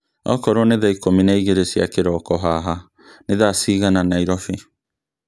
korwo nĩ thaa ikũmi na igĩrĩ cia kĩroko haha ni thaa cigana Nairobi